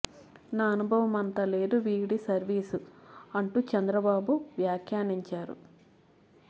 నా అనుభవం అంత లేదు వీరి సర్వీసు అంటూ చంద్రబాబు వ్యాఖ్యానించారు